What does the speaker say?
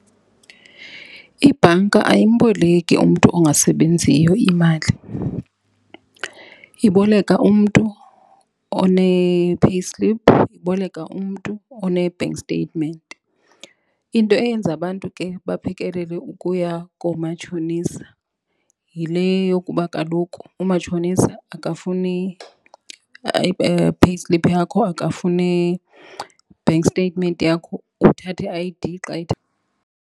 Ibhanka ayimboleki umntu ongasebenziyo imali. Iboleka umntu one-payslip, iboleka umntu one-bank statement. Into eyenza abantu ke baphekelele ukuya koomatshonisa yile yokuba kaloku umatshonisa akafuni payslip yakho, akafuni bank statement yakho, uthatha i-I_D .